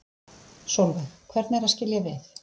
Sólveig: Hvernig er að skilja við?